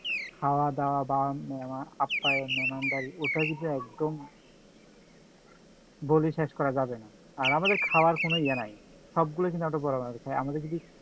খাওয়া দাওয়া বা মেহমান আপ্যায়ন বা মেহমানদারি ওটা কিন্তু একদম বলে শেষ করা যাবে না, আর আমাদের খাওয়ার কোনো ইয়া নাই, সবগুলো কিন্তু আমাদের যদি